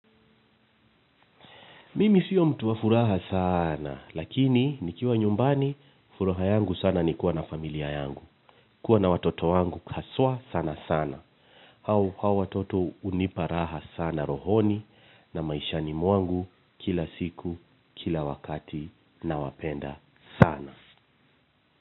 Mimi sio mtu wa furaha sana, lakini nikiwa nyumbani, furaha yangu sana ni kuwa na familia yangu, kuwa na watoto wangu haswa sana sana. Hao watoto hunipa raha sana rohoni na maishani mwangu kila siku, kila wakati nawapenda sana.